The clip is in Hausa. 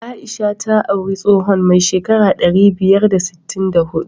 Aisha ta aure tsohon mai shekara ɗari biyar da sittin da huɗu.